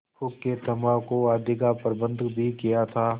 हुक्केतम्बाकू आदि का प्रबन्ध भी किया था